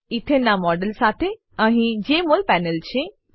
એથને નાં મોડેલ સાથે અહીં જેમોલ પેનલ છે